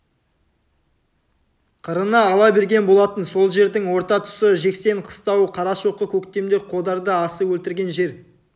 қырына ала берген болатын сол жердің орта тұсы жексен қыстауы қарашоқы көктемде қодарды асып өлтірген жер